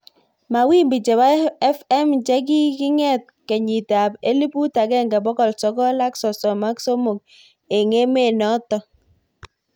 Mawimbi chebo FM chekikinget kenyit ab elibut akenge bokol sogol aksosom ak somok ik emet notok.